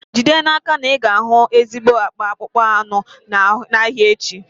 Jide n'aka na ị ga-achọ ezigbo akpa akpụkpọ anụ n'ahịa echi.